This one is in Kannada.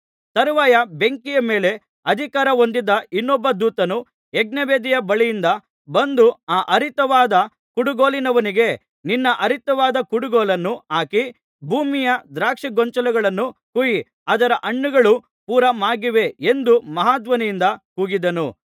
ತರುವಾಯ ಬೆಂಕಿಯ ಮೇಲೆ ಅಧಿಕಾರ ಹೊಂದಿದ್ದ ಇನ್ನೊಬ್ಬ ದೂತನು ಯಜ್ಞವೇದಿಯ ಬಳಿಯಿಂದ ಬಂದು ಆ ಹರಿತವಾದ ಕುಡುಗೋಲಿನವನಿಗೆ ನಿನ್ನ ಹರಿತವಾದ ಕುಡುಗೋಲನ್ನು ಹಾಕಿ ಭೂಮಿಯ ದ್ರಾಕ್ಷಿಗೊಂಚಲುಗಳನ್ನು ಕೊಯ್ಯಿ ಅದರ ಹಣ್ಣುಗಳು ಪೂರಾ ಮಾಗಿವೆ ಎಂದು ಮಹಾಧ್ವನಿಯಿಂದ ಕೂಗಿದನು